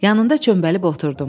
Yanında çöməlib oturdum.